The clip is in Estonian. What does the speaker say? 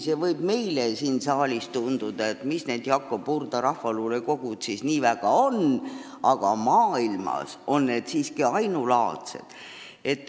Meile võib siin saalis tunduda, et mis need Jakob Hurda rahvaluulekogud siis nii väga on, aga maailmas on need siiski ainulaadsed.